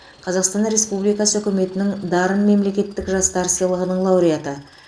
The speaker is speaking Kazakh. қазақстан республикасы үкіметінің дарын мемлекеттік жастар сыйлығының лауреаты